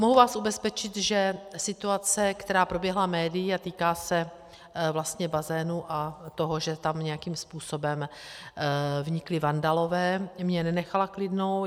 Mohu vás ubezpečit, že situace, která proběhla médii a týká se vlastně bazénu a toho, že tam nějakým způsobem vnikli vandalové, mě nenechala klidnou.